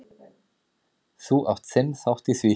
Þú átt þinn þátt í því.